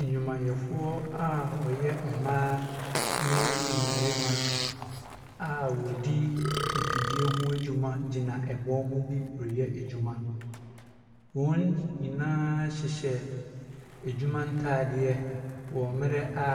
Nnwumayɛfoɔ a wɔyɛ mmaa ne mmarima a wɔdi mfidie ho adwuma gyina ɛbɔn mu bi reyɛ adwuma. Wɔn nyinaa hyehyɛ adwuma ntadeɛ, wɔ mmerɛ a,